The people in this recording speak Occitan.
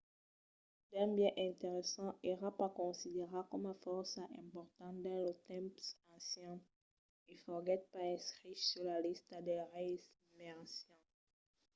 d'un biais interessant èra pas considerat coma fòrça important dins los tempses ancians e foguèt pas inscrich sus la lista dels reis mai ancians